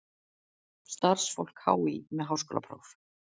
Starfsfólk HÍ með háskólapróf.